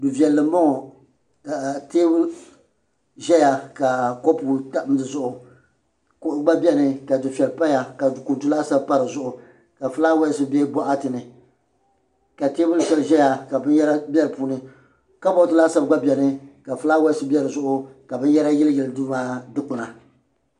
Du vɛlli mbɔŋɔ ka tɛɛbuli zɛya Du vɛɛli mbɔŋɔ ka tɛɛbuli zɛya ka kopu tam di Zuɣu kuɣu gba bɛni ka sufɛli paya ka kuntu laasabu pa di Zuɣu ka flawasi bɛ bɔɣati ni ka tɛɛbuli shɛli zaya ka binyara bɛ di puuni kabɔd laasabu gba bɛni ka flawasi bɛ di Zuɣu ka binyara yili yili duu maa dukpuna.